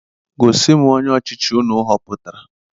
Gosi m onye ochichi unu họputara!